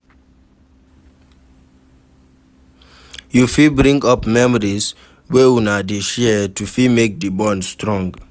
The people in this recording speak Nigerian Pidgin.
You fit bring up memories wey una dey share to fit make di bond strong